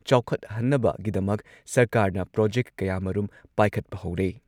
ꯆꯥꯎꯈꯠꯍꯟꯅꯕꯒꯤꯗꯃꯛ ꯁꯔꯀꯥꯔꯅ ꯄ꯭ꯔꯣꯖꯦꯛ ꯀꯌꯥꯃꯔꯨꯝ ꯄꯥꯏꯈꯠꯄ ꯍꯧꯔꯦ꯫